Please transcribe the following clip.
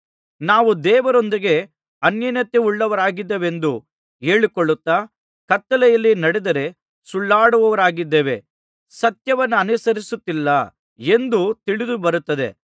ನಾವು ದೇವರೊಂದಿಗೆ ಅನ್ಯೋನ್ಯತೆಯುಳ್ಳವರಾಗಿದ್ದೇವೆಂದು ಹೇಳಿಕೊಳ್ಳುತ್ತಾ ಕತ್ತಲೆಯಲ್ಲಿ ನಡೆದರೆ ಸುಳ್ಳಾಡುವವರಾಗಿದ್ದೇವೆ ಸತ್ಯವನ್ನನುಸರಿಸುತ್ತಿಲ್ಲ ಎಂದು ತಿಳಿದು ಬರುತ್ತದೆ